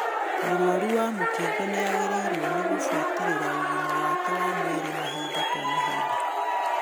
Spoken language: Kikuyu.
Mũrwaru wa mũkingo nĩagĩrĩirwo nĩ gũbuatĩrĩra ũgima wake wa mwĩrĩ mahinda kwa mahinda